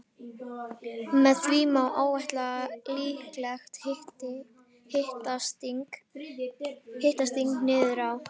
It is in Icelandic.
Með því má áætla líklegt hitastig niður á